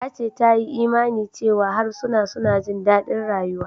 Ta ce ta yi imanin cewa harsuna suna jin daɗin rayuwa.